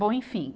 Bom, enfim.